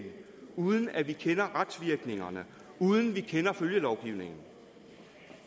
uden at vi kender retsvirkningerne uden at vi kender følgelovgivningen